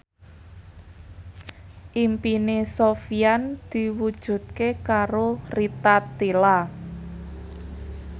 impine Sofyan diwujudke karo Rita Tila